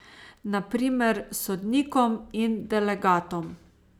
Na primer sodnikom in delegatom.